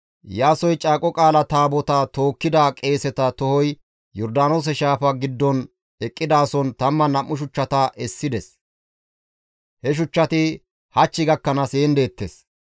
Iyaasoy Caaqo Qaala Taabotaa tookkida qeeseta tohoy Yordaanoose shaafa giddon eqqidaason 12 shuchchata essides; he shuchchati hach gakkanaas heen deettes.